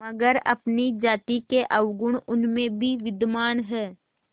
मगर अपनी जाति के अवगुण उनमें भी विद्यमान हैं